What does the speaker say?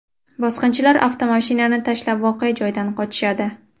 Bosqinchilar avtomashinani tashlab voqea joyidan qochishadi.